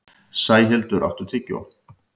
Sæhildur, áttu tyggjó?